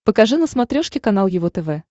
покажи на смотрешке канал его тв